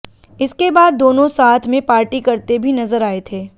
इसके बाद दोनों साथ में पार्टी करते भी नजर आए थे